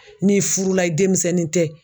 N'i furula i demisɛnnin tɛ